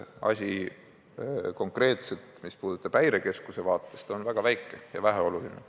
Konkreetne vajadus, mis puudutab Häirekeskust, on väga väike ja väheoluline.